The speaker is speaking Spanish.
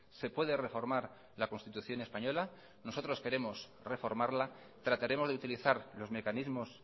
se puede reformar la constitución española nosotros queremos reformarla trataremos de utilizar los mecanismos